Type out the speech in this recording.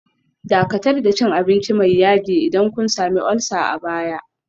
Dakatar da cin abinci mai yaji idan kun sami ulcer a baya